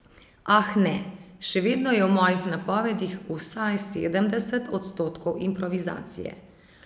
Ah ne, še vedno je v mojih napovedih vsaj sedemdeset odstotkov improvizacije.